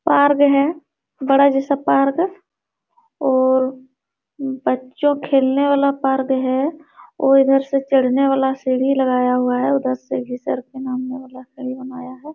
Park है बड़ा जैसा पार्क और बच्चों खेलने वाला पार्क है और इधर से चढ़ने वाला सीढ़ी लगाया हुआ है उधर से है।